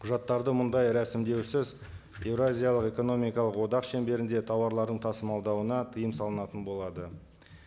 құжаттарды мұндай рәсімдеусіз еуразиялық экономикалық одақ шеңберінде тауарларын тасымалдауына тыйым салынатын болады